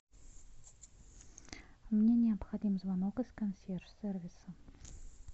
мне необходим звонок из консьерж сервиса